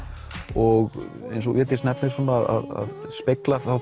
og eins og Védís nefnir svona að spegla